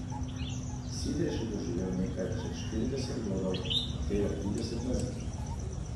Sidrež je doživel nekaj čez štirideset godov, od tega trideset na Zidu.